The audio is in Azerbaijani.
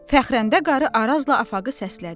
Fəxrənnə qarı Arazla Afağı səslədi.